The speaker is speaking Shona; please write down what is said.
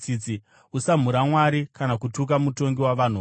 “Usamhura Mwari kana kutuka mutongi wavanhu vako.